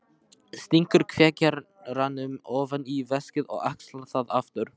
Stingur kveikjaranum ofan í veskið og axlar það aftur.